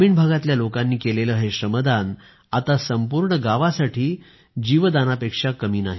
ग्रामीण भागातील लोकांनी केलेलं हे श्रमदान आता संपूर्ण गावासाठी जीवनदानापेक्षा कमी नाही